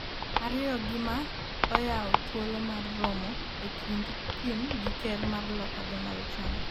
ariyo gi ma oyawo thuolo mar romo e kind Kim gi Ker mar Loka Donald Trump